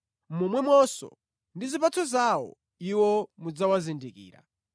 Momwemonso, ndi zipatso zawo iwo mudzawazindikira.